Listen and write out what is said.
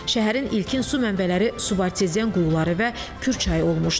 Şəhərin ilkin su mənbələri subartezian quyuları və Kür çayı olmuşdu.